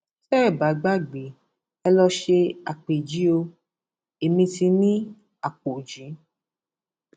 tẹ ẹ bá gbàgbé ẹ lọọ ṣe àpèjì o ẹmí ti ní àpọjì